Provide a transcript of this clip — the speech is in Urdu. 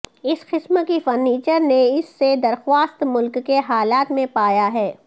اس قسم کی فرنیچر نے اس کی درخواست ملک کے حالات میں پایا ہے